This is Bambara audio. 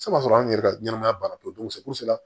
Seba sɔrɔ an yɛrɛ ka ɲɛnɛmaya banna pewu